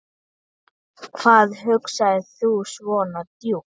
Hvað hugsar þú svona djúpt?